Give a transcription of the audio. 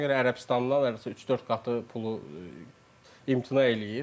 Ona görə Ərəbistandan hər üç-dörd qatı pulu imtina eləyir.